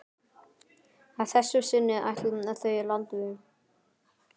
Að þessu sinni ætla þau landveg.